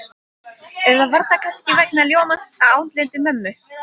Eða var það kannski vegna ljómans á andliti mömmu?